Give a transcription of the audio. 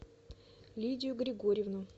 лидию григорьевну